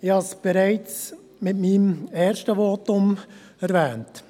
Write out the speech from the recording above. Ich habe es bereits in meinem ersten Votum erwähnt: